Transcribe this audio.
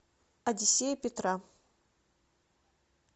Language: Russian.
одиссея петра